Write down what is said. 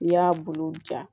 N'i y'a bulu ja